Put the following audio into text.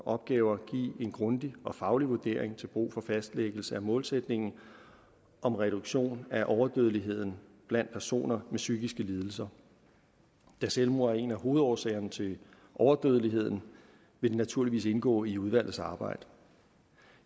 opgaver give en grundig faglig vurdering til brug for fastlæggelse af målsætningen om reduktion af overdødeligheden blandt personer med psykiske lidelser da selvmord er en af hovedårsagerne til overdødeligheden vil det naturligvis indgå i udvalgets arbejde